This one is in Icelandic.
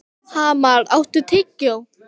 Hamar, áttu tyggjó?